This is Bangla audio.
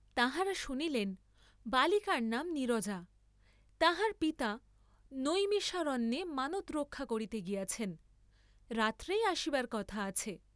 তাঁহারা শুনিলেন, বালিকার নাম নীরজা, তাঁহার পিতা নৈমিষারণ্যে মানৎরক্ষা করিতে গিয়াছেন, রাত্রেই আসিবার কথা আছে।